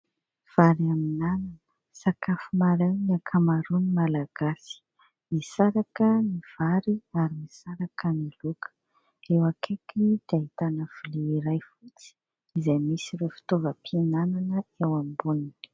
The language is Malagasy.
Vary amin'anana sakafo maraina ny ankamaroany Malagasy, misaraka ny vary ary misaraka ny laoka ; eo akaikiny dia ahitana lovia iray fotsy izay misy ireo fitaovam-pihinanana eo amboniny.